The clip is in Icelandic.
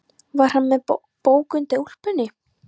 Var hann með bók undir úlpunni?